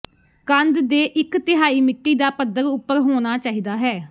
ਕੰਦ ਦੇ ਇੱਕ ਤਿਹਾਈ ਮਿੱਟੀ ਦਾ ਪੱਧਰ ਉਪਰ ਹੋਣਾ ਚਾਹੀਦਾ ਹੈ